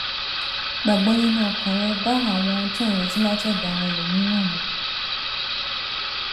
gbà gbó nínú ọkàn rè bá àwọn ohun tó ń retí látòdò àwọn ẹlòmíràn mu